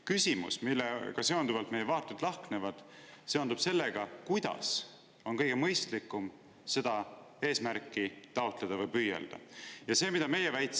Küsimus, millega seonduvalt meie vaated lahknevad, seondub sellega, kuidas on kõige mõistlikum seda eesmärki taotleda või selle poole püüelda.